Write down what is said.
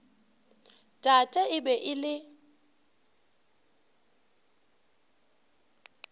tate e be e le